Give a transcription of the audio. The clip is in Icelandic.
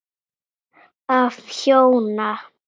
Af hjóna